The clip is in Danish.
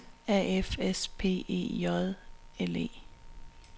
A F S P E J L E